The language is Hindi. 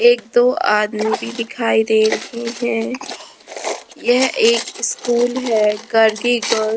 एक दो आदमी भी दिखाई दे रहे है यह एक स्कूल है गर्गी गर्ल --